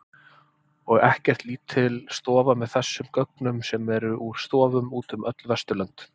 Og ekkert lítil stofa með þessum gögnum sem eru í stofum út um öll Vesturlönd.